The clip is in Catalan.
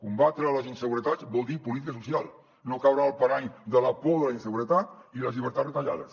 combatre les inseguretats vol dir política social no caure en el parany de la por de la inseguretat i les llibertats retallades